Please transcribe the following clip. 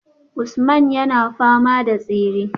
Usman yana fama da tsere